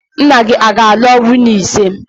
Nna gị ọ ga-alụ nwunye ise?